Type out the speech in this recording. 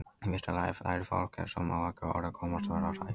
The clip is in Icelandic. Í fyrsta lagi lærir fólk- ef svo má að orði komast- að vera hrætt.